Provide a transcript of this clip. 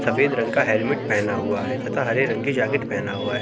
सफेद रंग का हेलमेट पहना हुआ है तथा हरे रंग की जैकेट पहना हुआ है।